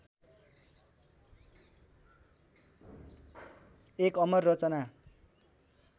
एक अमर रचना